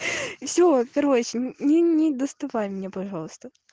все короче ни ни не доставай меня пожалуйста